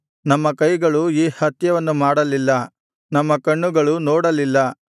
ನಮ್ಮ ಕೈಗಳು ಈ ಹತ್ಯವನ್ನು ಮಾಡಲಿಲ್ಲ ನಮ್ಮ ಕಣ್ಣುಗಳು ನೋಡಲಿಲ್ಲ